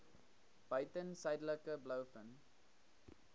buiten suidelike blouvin